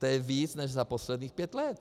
To je víc než za posledních pět let.